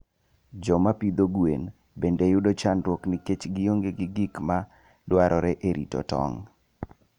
Joma pidho gwen bende yudo chandruok nikech gionge gi gik ma dwarore e rito tong'.